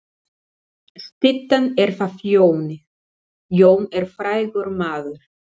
Styttan er af Jóni. Jón er frægur maður.